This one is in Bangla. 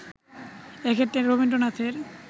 এ ক্ষেত্রে রবীন্দ্রনাথের